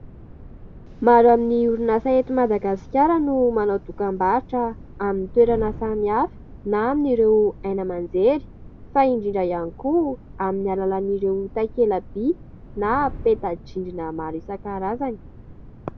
Maro amin'ny orinasa ety Madagasikara no manao dokam-barotra amin'ny toerana samihafa na amin'ireo haino aman-jery fa indrindra ihany koa amin'ny alalan'ireo takela-by na peta-drindrina maro isan-karazany.